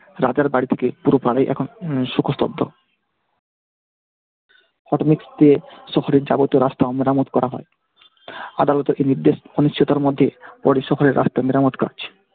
রাজার বাড়ি থেকে পুরো পাড়ায় এখন উম শোকস্তব্ধ। শহরের যাবতীয় রাস্তা মেরামত করা হয়। আদালতের এই নির্দেশ মধ্যে পরের সফরে রাস্তা মেরামত কাজ